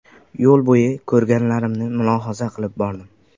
Yo‘l bo‘yi ko‘rganlarimni mulohaza qilib bordim.